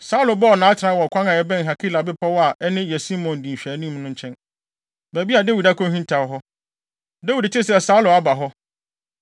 Saulo bɔɔ nʼatenae wɔ ɔkwan a ɛbɛn Hakila bepɔw a ɛne Yesimon di nhwɛanim no nkyɛn, baabi a Dawid akohintaw hɔ. Dawid tee sɛ Saulo aba hɔ, enti